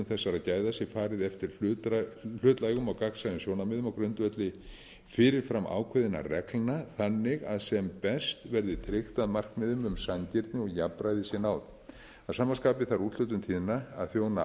þessara gæða sé farið eftir hlutlægum og gagnsæjum sjónarmiðum á grundvelli fyrirframákveðinna reglna þannig að sem best verði tryggt að markmiðum um sanngirni og jafnræði sé náð að sama skapi þarf úthlutun tíðna að þjóna